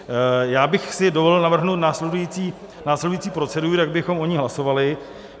Já bych si dovolil navrhnout následující proceduru, jak bychom o ní hlasovali.